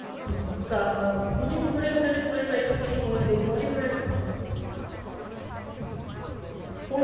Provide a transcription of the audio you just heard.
উম গা~ দুদিন ধরে আপনাদের phone এ try করছি কোনো কেউ phone এ তোলে না, phone